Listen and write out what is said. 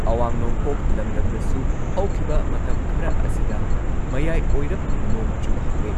ꯃꯨꯈ꯭ꯌ ꯃꯟꯇ꯭ꯔꯤꯅ ꯂꯨꯆꯤꯡꯗꯨꯅ ꯃꯈꯣꯏꯅ ꯍꯥꯟꯅ ꯀꯦꯟꯗ꯭ꯔꯒꯤ ꯒ꯭ꯔꯤꯍ ꯃꯟꯇ꯭ꯔꯤ,